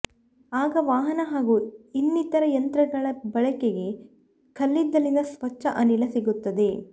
ಆಗ ವಾಹನ ಹಾಗೂ ಇನ್ನಿತರ ಯಂತ್ರಗಳ ಬಳಕೆಗೆ ಕಲ್ಲಿದ್ದಲಿನ ಸ್ವಚ್ಛ ಅನಿಲ ಸಿಗುತ್ತದೆ